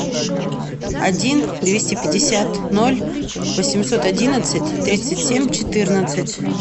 один двести пятьдесят ноль восемьсот одиннадцать тридцать семь четырнадцать